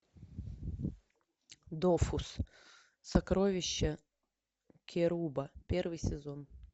дофус сокровища керуба первый сезон